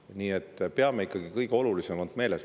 Nii et peame ikkagi kõige olulisemat meeles.